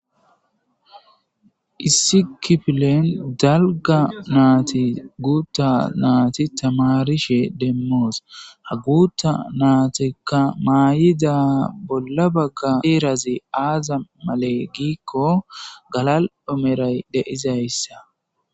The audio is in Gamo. issi kifilen dalga naati guutta naati tamarishe deemmoos ha guutta naatekka maayida bolla bagga heerazi aaza male giikko galal omeray deizayssa